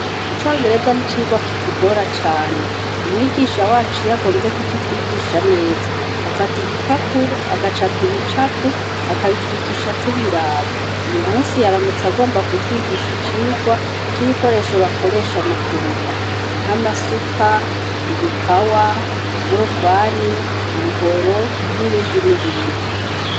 Icongereza nicigwa kitugora cane. Umwigisha wacu iyo agomvye kukitwigisha neza , afat'igipapuro , agacapa ibicapo, akabitwigisha tubiraba. Uyu musi yaramutse agomba kutwigisha icigwa c'ibikoresho bakoresha mukurima nk'amasuka, ibipawa, inkorofani, umuhoro, nibindi nibindi.